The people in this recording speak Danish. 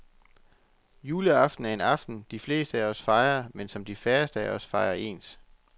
Juleaften er en aften de fleste af os fejrer, men som de færreste af os fejrer ens.